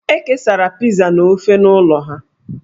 E kesara Pizaa na ofe n'ụlọ ha.